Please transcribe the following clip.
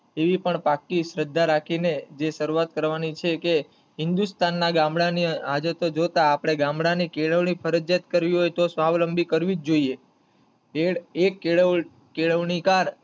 એવી પણ પાકી શ્રદ્ધા રાખી ને જે શરૂવાત કરવાની છે કે હિન્દુસ્તાન ના ગામડાની આજે તોજોતા આપડા ગામડાની કેળવણી ફરિજયાત કરવી હોય તો સ્વાવલંબી કરવી જ જોઈએ એક એક કેળવણી કેળવણીકાર,